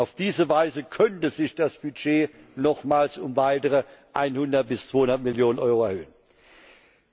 Auf diese Weise könnte sich das Budget nochmals um weitere 100 bis 200 Millionen Euro erhöhen.